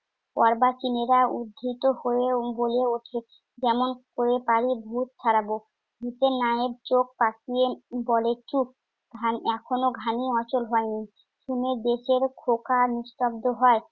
অর্বাচিনেরা উদ্ধৃত হয়ে বলে উঠে, যেমন করে পারি ভুত ছাড়াব। ভুতের মায়ের চোখ পাকিয়ে বলে চুপ। ঘান~ এখনো ঘানি অচল হয়নি। শুনে দেশের খোকা নিস্তব্ধ হয়।